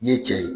N'i ye cɛ ye